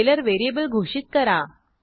scalar variable घोषित करा